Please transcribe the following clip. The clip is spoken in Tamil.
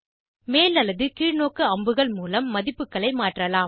மேல் அல்லது கீழ்நோக்கு அம்புகள் மூலம் மதிப்புகளை மாற்றலாம்